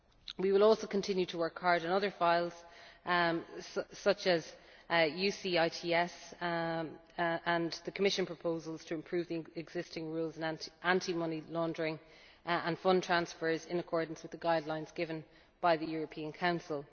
We will also continue to work hard on other files, such as UCITS and the Commission proposals to improve the existing rules on anti money laundering and fund transfers, in accordance with the guidelines given by the European